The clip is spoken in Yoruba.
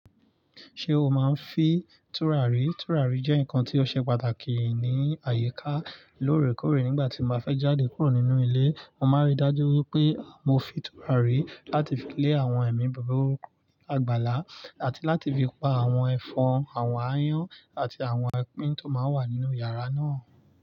Ṣé o máa ń fi tùràrí? Tùràrí jẹ́ nǹkan tí ó ṣe pàtàkì ní àyíká lóòrèkóòrè nígbà tí mo bá fẹ́ jáde kúrò nínú ilé. Mo máa rí i dájú wípé mo fin tùràrí láti fi lé àwọn ẹ̀mí búburú àgbàlá àti láti fi pa àwọn ẹ̀fọn, àwọn ááyán àti àwọn ẹkín tó máa ń wà nínú yàrá náà.